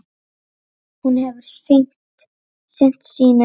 Hún hefur sinnt sínu.